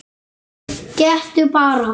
Gettu bara?